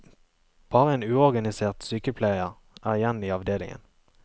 Bare en uorganisert sykepleier er igjen i avdelingen.